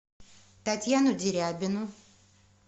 татьяну дерябину